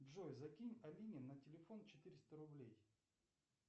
джой закинь алине на телефон четыреста рублей